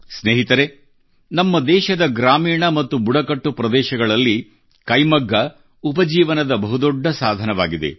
ಸ್ನೇಹಿತರೆ ನಮ್ಮ ದೇಶದ ಗ್ರಾಮೀಣ ಮತ್ತು ಬುಡಕಟ್ಟು ಪ್ರದೇಶಗಳಲ್ಲಿ ಕೈಮಗ್ಗ ಉಪಜೀವನದ ಬಹುದೊಡ್ಡ ಸಾಧನವಾಗಿದೆ